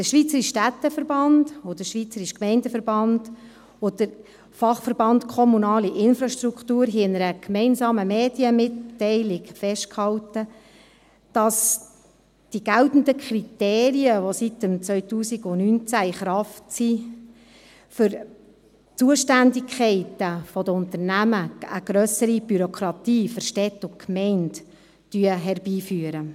Der Schweizerische Städteverband, der Schweizerische Gemeindeverband und der Fachverband Kommunale Infrastruktur hielten in einer gemeinsamen Medienmitteilung fest, dass die geltenden Kriterien, die seit 2019 in Kraft sind, bezüglich Zuständigkeiten der Unternehmen, eine grössere Bürokratie für Städte und Gemeinden herbeiführen.